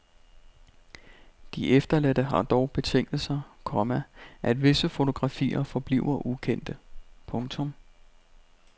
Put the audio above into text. De efterladte har dog betinget sig, komma at visse fotografier forbliver ukendte. punktum